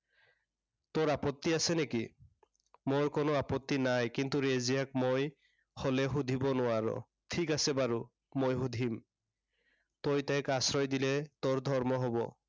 তোৰ আপত্তি আছে নেকি? মোৰ কোনো আপত্তি নাই, কিন্তু ৰেজিয়াক মই হলে সুধিব নোৱাৰো। ঠিক আছে বাৰু, মই সুধিম। তই তাইক আশ্ৰয় দিলে, তোৰ ধৰ্ম হব।